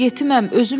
Mən yetiməm.